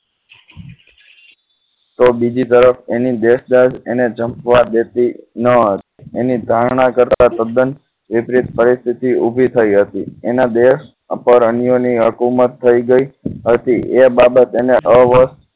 તો બીજી તરફ એની દેશ દાજ જપવા દેતી ન હતી એની ધારણા કરતા તથા તદ્દન વિપરીત પરિસ્થિતિ ઉભી થઈ હતી એના દેશ ઉપર અન્યની હુકુમત થઈ ગઈ હતી એ બાબત એને અવસ્થ